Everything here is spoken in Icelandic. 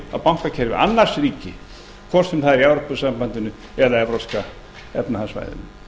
á bankakerfi annars ríkis hvort sem það er í evrópusambandinu eða evrópska efnahagssvæðinu